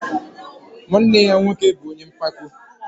Nwanne ya nwoke bụ ọnye mpako